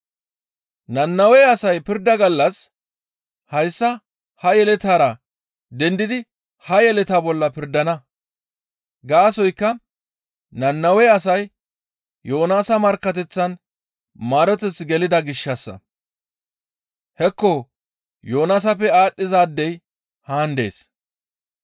Nannawe asay pirda gallas hayssa ha yeletaara dendidi ha yeletaa bolla pirdana; gaasoykka Nannawe asay Yoonaasa markkateththan maaroteth gelida gishshassa. Hekko Yoonaasappe aadhdhizaadey haan dees.